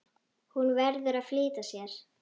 Hún verður að flýta sér.